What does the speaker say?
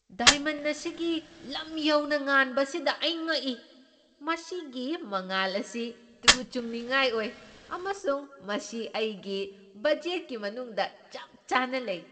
Diamond ꯑꯁꯤꯒꯤ ꯂꯝ ꯌꯧꯅ ꯉꯥꯟꯕ ꯑꯁꯤꯗ ꯑꯩ ꯉꯛꯏ! ꯃꯁꯤꯒꯤ ꯃꯉꯥꯜ ꯑꯁꯤ ꯇꯨ ꯆꯨꯡꯅꯤꯡꯉꯥꯏ ꯑꯣꯏ, ꯑꯃꯁꯨꯡ ꯃꯁꯤ ꯑꯩꯒꯤ ꯕꯖꯦꯠꯀꯤ ꯃꯅꯨꯡꯗ ꯆꯞ ꯆꯥꯅ ꯂꯩ꯫